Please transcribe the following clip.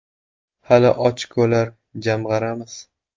Hali ochkolar jamg‘aramiz.